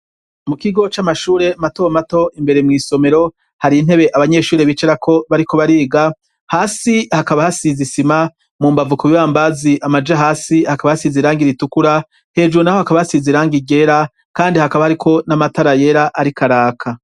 Mu kigo c'amashure mato mato imbere mwisomero hari intebe abanyeshuri bicerako bariko bariga hasi hakaba hasize isima mu mbavu ku bibambazi amaja hasi hakaba hasize irangi ritukura hejuru naho hakaba hasiza irangi ryera kandi hakaba hariko n'amatara yera ariko araka.